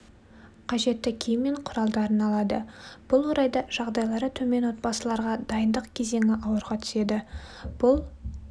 қажетті киім мен құралдарын алады бұл орайда жағдайлары төмен отбасыларға дайындық кезеңі ауырға түседі бұл